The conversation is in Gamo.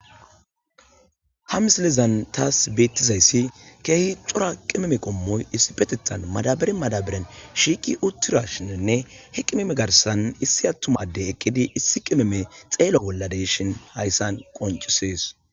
ha misilezan taas beettizayssi keehi xora qimeme qommoy issi petetan madabare madabaren shiiki uttura shininne hi qimeme garsan issi attumadde eqqidi issi qimeme xeela bolladeshin hayssan qoncisees